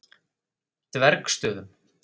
Dvergsstöðum